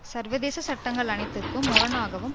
சர்வதேச சட்டங்கள் அனைத்திற்கும் முரணாகவும்